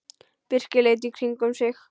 Birkir leit í kringum sig.